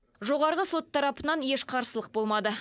жоғарғы сот тарапынан еш қарсылық болмады